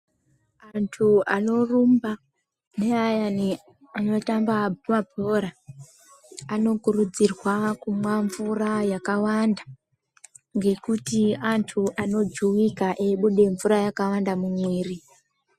Antu anorumba neayani anotamba mabhora anokurudzirwa kumwa mvura yakawanda nekuti antu anojuwika eibuda mvura yakawanda mumwiri.